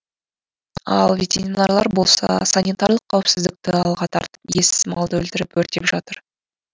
ал ветеринарлар болса санитарлық қауіпсіздікті алға тартып иесіз малды өлтіріп өртеп жатыр